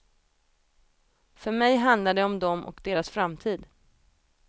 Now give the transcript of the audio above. För mig handlar det om dem och deras framtid.